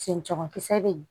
Senjamu kisɛ bɛ yen